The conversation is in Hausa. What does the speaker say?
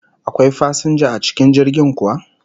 Akwai fasinja a cikin jirgin kuwa?